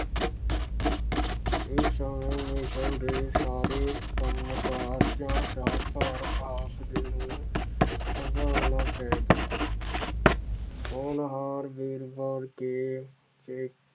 ਇਸ ਸਮੇਂ ਮਿਸ਼ਲ ਦੇ ਸਾਰੇ ਕੰਮ ਕਾਰਜਾਂ ਦਾ ਭਾਰ ਆਪ ਨੂੰ ਸੰਭਾਲਣਾ ਪੈ ਗਿਆ ਹੋਣਹਾਰ